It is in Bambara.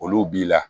Olu b'i la